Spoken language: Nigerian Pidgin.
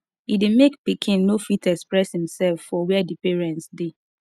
e de make pikin no fit experess imself for where di parents de